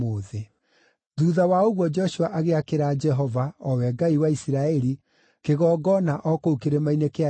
Thuutha wa ũguo Joshua agĩakĩra Jehova, o we Ngai wa Isiraeli, kĩgongona o kũu kĩrĩma-inĩ kĩa Ebali,